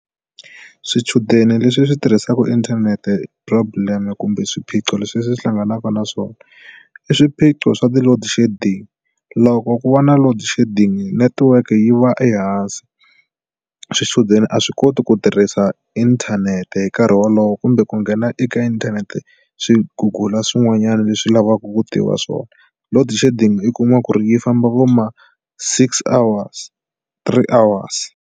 Swichudeni leswi swi tirhisaku inthanete problem kumbe swiphiqo leswi leswi hlanganaka na swona i swiphiqo swa ti-loadshedding loko ku va na load-shedding network yi va ehansi swichudeni a swi koti ku tirhisa inthanete hi nkarhi wolowo kumbe ku nghena eka inthanete swi gugula swin'wanyana leswi lavaka ku tiva swona load-shedding i kuma ku ri yi famba vo ma six hours three hours.